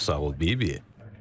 Çox sağ ol Bibi.